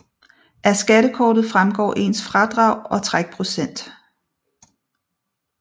Af skattekortet fremgår ens fradrag og trækprocent